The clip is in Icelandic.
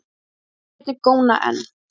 Mennirnir góna enn.